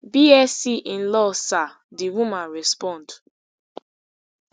bsc in law sir di woman respond